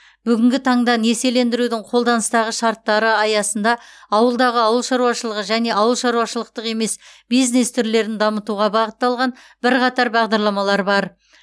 бүгінгі таңда несиелендірудің қолданыстағы шарттары аясында ауылдағы ауыл шаруашылығы және ауыл шаруашылықтық емес бизнес түрлерін дамытуға бағытталған бірқатар бағдарламалар бар